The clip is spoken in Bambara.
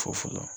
Fo fɔlɔ